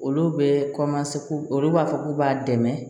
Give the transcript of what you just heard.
Olu bɛ olu b'a fɔ k'u b'a dɛmɛ